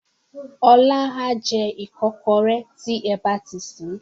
Ọlá a jẹ ìkọ́kọrẹ́ tí ẹ ba ti sè é.